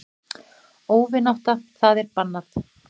Óvinátta það er bannað.